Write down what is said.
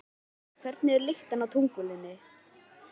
Heimir Már: Hvernig er lyktin á tunglinu?